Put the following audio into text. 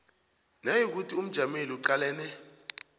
nayikuthi umjameli uqalene